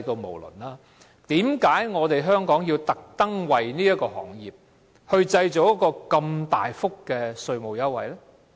為甚麼香港要為這個行業製造大幅稅務優惠？